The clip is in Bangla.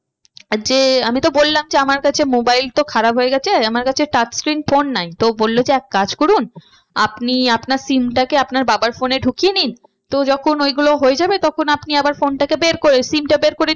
আর যে আমি তো বললাম যে আমার কাছে mobile তো খারাপ হয়ে গেছে। আমার কাছে touch screen phone নাই। তো বললো যে এক কাজ করুন আপনি আপনার SIM টাকে আপনার বাবার phone এ ঢুকিয়ে নিন তো যখন ওইগুলো হয়ে যাবে তখন আপনি আবার phone টাকে বের করে SIM টা বের করে